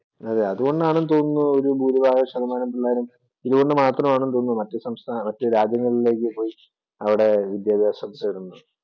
അതേ, അതുകൊണ്ടാണെന്ന് തോന്നുന്നു ഭൂരിഭാഗ ശതമാനം പിള്ളേരും ഇതുകൊണ്ട് മാത്രമാണെന്ന് തോന്നുന്നു മറ്റ് സംസ്ഥാനങ്ങളിലേക്ക് മറ്റു രാജ്യങ്ങളിലേക്ക് പോയി അവിടെ വിദ്യാഭ്യാസം തേടുന്നത്.